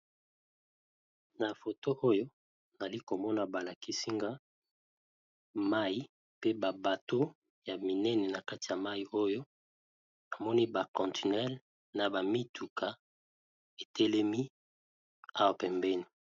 Na photo oyo nazali komona balakisinga awa eza namoni mai na ba bateau ebele ya monene naka ya mai namoni pe bamituka na ba contelle ebele